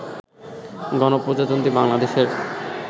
গণপ্রজাতন্ত্রী বাংলাদেশের